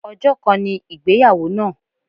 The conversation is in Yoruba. Ọjọ́ kan ni ìgbéyàwó náà.